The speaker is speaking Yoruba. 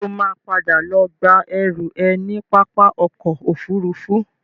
Ṣo ma padà lọ gba ẹrú ẹ ní pápá ọkọ̀ Òfurufú?